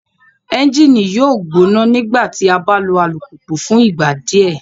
Ẹnjini yoo gbona nigbati a ba lo alupupu fun igba diẹ